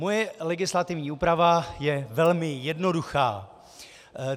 Moje legislativní úprava je velmi jednoduchá.